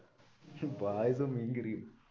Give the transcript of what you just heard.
പായസവും മീന്കറിയോ